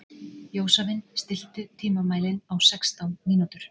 Jósavin, stilltu tímamælinn á sextán mínútur.